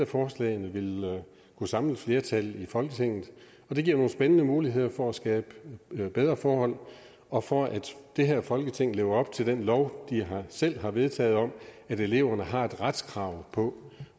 forslagene kunne samle et flertal i folketinget og det giver nogle spændende muligheder for at skabe bedre forhold og for at det her folketing lever op til den lov vi selv har vedtaget om at eleverne har et retskrav på